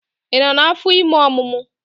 Ị nọ n'afọ ime omumu?